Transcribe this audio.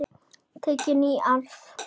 Tekin í arf.